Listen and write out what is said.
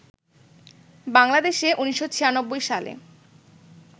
বাংলাদেশে ১৯৯৬ সালে